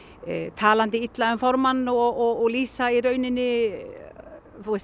talandi illa um formann og og